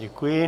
Děkuji.